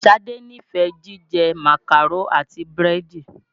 Ṣadé nífẹ̀ẹ jíjẹ Màkàró àti búrẹ́dì.